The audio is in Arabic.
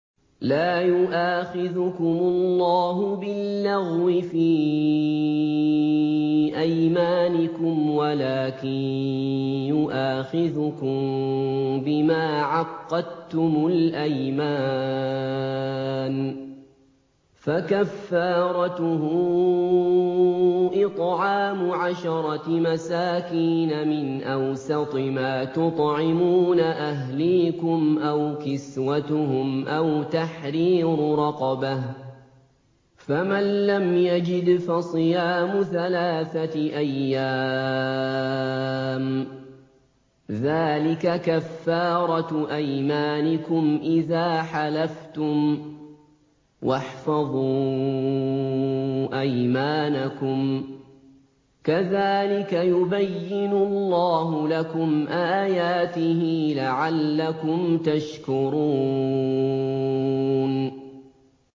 لَا يُؤَاخِذُكُمُ اللَّهُ بِاللَّغْوِ فِي أَيْمَانِكُمْ وَلَٰكِن يُؤَاخِذُكُم بِمَا عَقَّدتُّمُ الْأَيْمَانَ ۖ فَكَفَّارَتُهُ إِطْعَامُ عَشَرَةِ مَسَاكِينَ مِنْ أَوْسَطِ مَا تُطْعِمُونَ أَهْلِيكُمْ أَوْ كِسْوَتُهُمْ أَوْ تَحْرِيرُ رَقَبَةٍ ۖ فَمَن لَّمْ يَجِدْ فَصِيَامُ ثَلَاثَةِ أَيَّامٍ ۚ ذَٰلِكَ كَفَّارَةُ أَيْمَانِكُمْ إِذَا حَلَفْتُمْ ۚ وَاحْفَظُوا أَيْمَانَكُمْ ۚ كَذَٰلِكَ يُبَيِّنُ اللَّهُ لَكُمْ آيَاتِهِ لَعَلَّكُمْ تَشْكُرُونَ